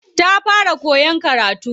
Ta fara koyan karatu.